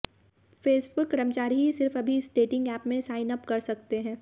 Facebook कर्मचारी ही सिर्फ अभी इस डेटिंग ऐप में साइन अप कर सकते हैं